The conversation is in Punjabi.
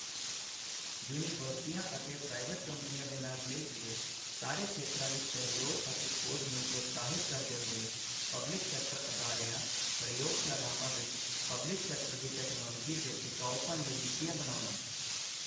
ਯੂਨੀਵਰਸਿਟੀਆਂ ਅਤੇ ਪ੍ਰਾਈਵੇਟ ਕੰਪਨੀਆਂ ਦੇ ਨਾਲ ਮਿਲ ਕੇ ਸਾਰੇ ਖੇਤਰਾਂ ਵਿੱਚ ਸਹਿਯੋਗ ਅਤੇ ਖੋਜ ਨੂੰ ਪ੍ਰੋਤਸਾਹਿਤ ਕਰਦੇ ਹੋਏ ਪਬਲਿਕ ਸੈਕਟਰ ਅਦਾਰਿਆਂ ਪ੍ਰਯੋਗਸ਼ਾਲਾਵਾਂ ਵਿੱਚ ਪਬਲਿਕ ਸੈਕਟਰ ਦੀ ਟੈਕਨੋਲੋਜੀ ਦੇ ਟਿਕਾਊਪਣ ਲਈ ਨੀਤੀਆਂ ਬਣਾਉਣਾ।